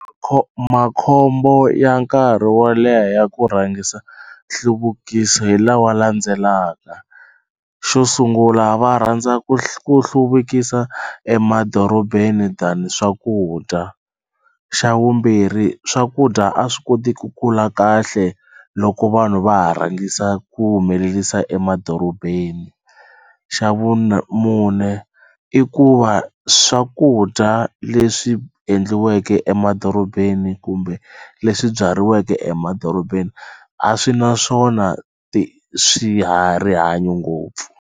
makhombo ya nkarhi wo leha ya ku rhangisa nhluvukiso hi lawa landzelaka xo sungula va rhandza ku hluvukisa emadorobeni than swakudya xa vumbirhi swakudya a swi koti ku kula kahle loko vanhu va ha rhangisa ku humelerisa emadorobeni xa mune i ku va swakudya leswi endliweke emadorobeni kumbe leswi byariweke emadorobeni a swi na swona rihanyo ngopfu.